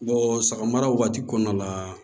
sagara wagati kɔnɔna la